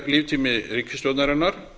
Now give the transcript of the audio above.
á helmingi líftíma ríkisstjórnarinnar